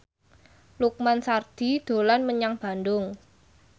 Lukman Sardi dolan menyang Bandung